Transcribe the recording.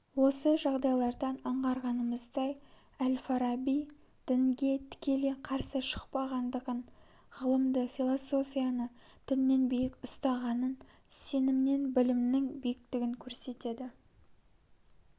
осы жағдайлардан аңғарғанымыздай әл-фараби дінге тікелей карсы шықпағандығын ғылымды философияны діннен биік ұстағанын сенімнен білімнің биіктігін көрсетеді